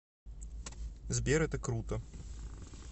сбер это круто